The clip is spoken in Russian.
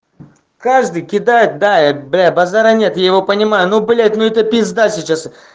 каждый кидает да бля базара нет я его понимаю ну блять ну это пизда сейчас